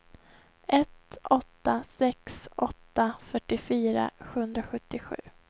ett åtta sex åtta fyrtiofyra sjuhundrasjuttiosju